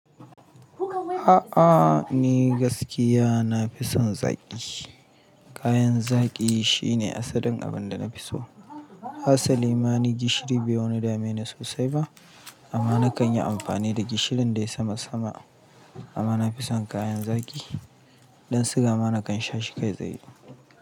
A'a, ni gaskiya na fi son zaƙi. Kayan zaƙi shine asalin abinda na fi so. Hasali ma ni gishiri bai wani dame ni sosai ba amma na kan yi amfani da gishirin dai sama sama amma na fi son kayan zaƙi. Dan suga ma na kan sha shi kai tsaye.